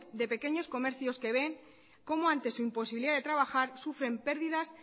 de pequeños comercios que ven como ante su imposibilidad de trabajar sufren pérdidas